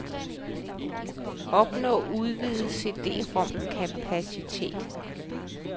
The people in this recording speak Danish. Opnå udvidet cd-rom kapacitet.